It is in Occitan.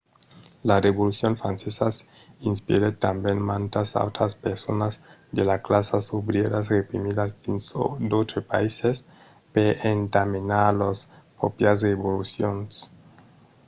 la revolucion francesa inspirèt tanben mantas autras personas de las classas obrièras reprimidas dins d'autres païses per entamenar lors pròprias revolucions